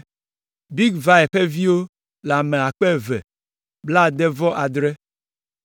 Bigvai ƒe viwo le ame akpe eve kple blaade-vɔ-adre (2,067).